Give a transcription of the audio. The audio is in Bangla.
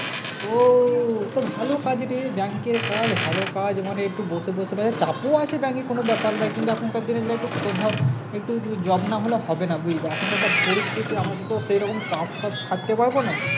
ও তো ভালো কাজ রে Bank এর কাজ ভালো কাজ মানে একটু বসে বসে ভাই চাপ ও আছে bank এ কোনো ব্যাপার নয় কিন্তু এখানকার দিনে একটু ধর একটু job নাহলে হবে না বুঝলি এখন একটা পরিস্থিতি আমার তো সেরকম চাপ টাপ খাটতে পারবো না